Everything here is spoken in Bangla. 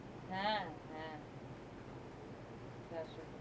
হ্যাঁ হ্যাঁ তা সঠিক